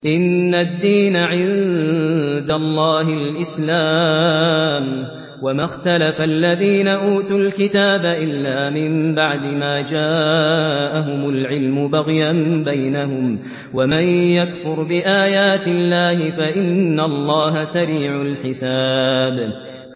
إِنَّ الدِّينَ عِندَ اللَّهِ الْإِسْلَامُ ۗ وَمَا اخْتَلَفَ الَّذِينَ أُوتُوا الْكِتَابَ إِلَّا مِن بَعْدِ مَا جَاءَهُمُ الْعِلْمُ بَغْيًا بَيْنَهُمْ ۗ وَمَن يَكْفُرْ بِآيَاتِ اللَّهِ فَإِنَّ اللَّهَ سَرِيعُ الْحِسَابِ